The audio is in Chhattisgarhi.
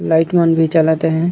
लाइट मन भी जलत हे।